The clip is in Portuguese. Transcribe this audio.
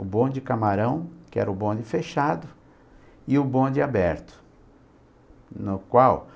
O bonde camarão, que era o bonde fechado, e o bonde aberto, no qual